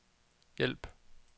hjælp